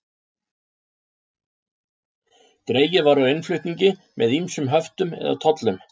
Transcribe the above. Dregið var úr innflutningi með ýmsum höftum eða tollum.